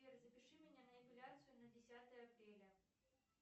сбер запиши меня на эпиляцию на десятое апреля